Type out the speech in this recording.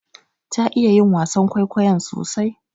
Ta iya yi wasan kwaikwayon sosai.